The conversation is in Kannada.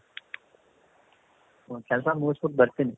ಒಂದು ಕೆಲಸ ಮುಗುಸ್ಬಿಟ್ಟು ಬರ್ತೀನಿ.